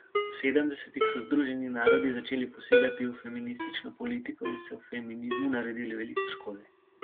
V sedemdesetih so Združeni narodi začeli posegati v feministično politiko in so feminizmu naredili veliko škode.